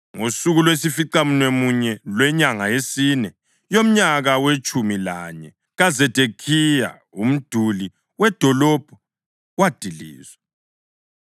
Ngosuku lwesificamunwemunye lwenyanga yesine, yomnyaka wetshumi lanye kaZedekhiya umduli wedolobho wadilizwa.